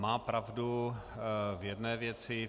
Má pravdu v jedné věci.